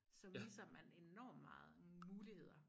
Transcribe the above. Så misser man enormt meget muligheder